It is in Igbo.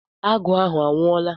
Agụ ahụ anwụọla?